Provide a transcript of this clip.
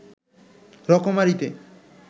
রকমারিতে